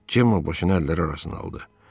Cemma başını əlləri arasına aldı.